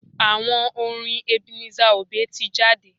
Àwo orin Ebenezer obey tí jáde.